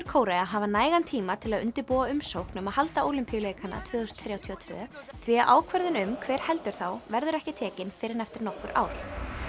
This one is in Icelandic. Kórea hafa nægan tíma til að undirbúa umsókn um að halda Ólympíuleikana tvö þúsund þrjátíu og tvö því að ákvörðun um hver heldur þá verður ekki tekin fyrr en eftir nokkur ár